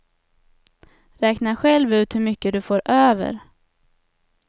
Räkna själv ut hur mycket du får över.